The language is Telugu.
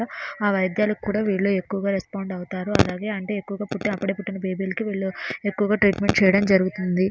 ఆ వైద్యాలకు కూడా వీళ్లు ఎక్కువగా రెస్పాండ్ అవుతారు. అలాగే అంటే ఎక్కువగా పుట్టే అప్పుడే పుట్టిన బేబీ లకు వీళ్లు ఎక్కువగా ట్రీట్మెంట్ చేయడం జరుగుతుంది.